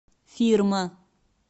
фирма